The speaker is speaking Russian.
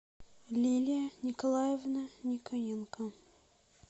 лилия николаевна никоненко